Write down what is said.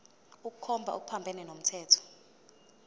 ukukhomba okuphambene nomthetho